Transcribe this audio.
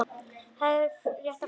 Og hafði fréttir að færa.